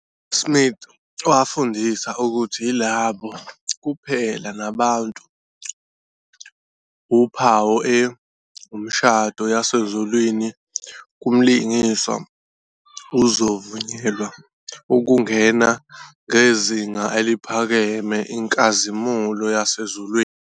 Smith wafundisa ukuthi yilabo kuphela nabantu uphawu e umshado yasezulwini kumlingani uzovunyelwa ukungena ngezinga eliphakeme inkazimulo yasezulwini.